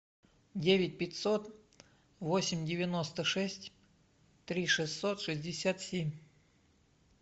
девять пятьсот восемь девять шесть три шестьсот шестьдесят семь